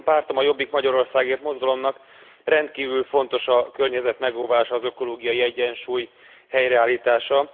Az én pártom, a Jobbik Magyarországért Mozgalomnak rendkívül fontos a környezet megóvása, az ökológiai egyensúly helyreállítása.